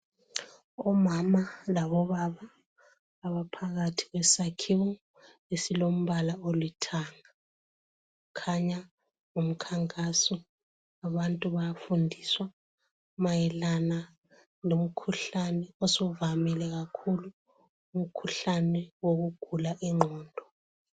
Omama labobaba abaphakathi kwesakhiwo esilombala olithanga kukhanya ngumkhankaso wabantu abafundiswa mayelana lomkhuhlane osuvamile kakhulu, umkhuhlane wokugula ingqondo.